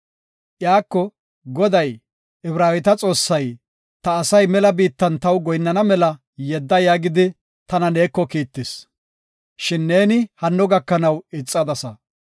Iyako, ‘Goday, Ibraaweta Xoossay ta asay mela biittan taw goyinnana mela yedda’ yaagidi tana neeko kiittis. Shin neeni hanno gakanaw ixadasa.